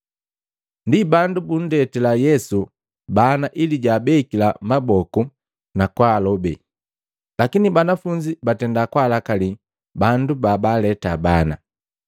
Ndi bandu bunndetila Yesu bana ili jwaabekila maboku na kwaalobe. Lakini banafunzi batenda kwaalakali bandu babaaleta bana.